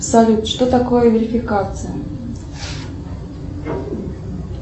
салют что такое верификация